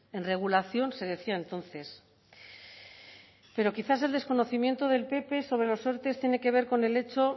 en regulación se decía entonces pero quizás el desconocimiento del pp sobre los erte tiene que ver con el hecho